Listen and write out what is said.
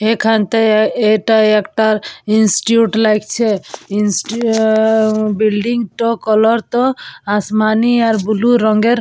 এখান থেকে এটা একটা ইনস্টিটিউট লাগছে। ইনস্টিটিউট বিল্ডিং টো কালার টো আসমানী আর ব্লু রংয়ের।